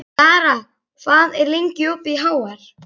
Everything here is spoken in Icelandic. Lara, hvað er lengi opið í HR?